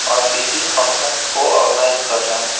और किसी फंक्शन को ऑर्गेनाइज कर रहा है।